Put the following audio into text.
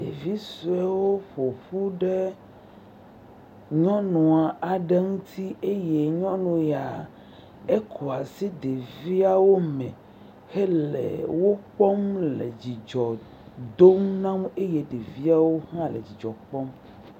Ɖevi suewo ƒoƒu ɖe nyɔnu aɖe ŋuti eye nyɔnu ya eƒoa asi ɖeviawo me hele wokpɔm le dzidzɔ dom na wo eye ɖeviawo hã le dzidzɔ kpɔm.